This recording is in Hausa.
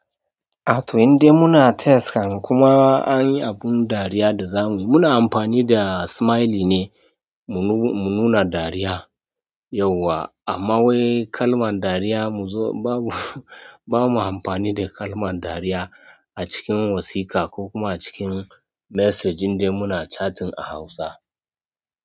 A to in dai muna text kan kuma an yi abun dariya da za muyi muna amfani da smiley ne mu nuna dariya yauwa. Amma wai kalman dariya muzo babu, ba mu amfani da kalman dariya a cikin wasiƙa ko kuma cikin message in dai muna chatting a Hausa.